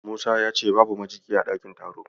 Musa ya ce babu majigi a ɗakin taron.